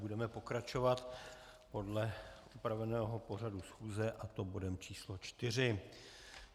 Budeme pokračovat podle upraveného pořadu schůze, a to bodem číslo čtyři.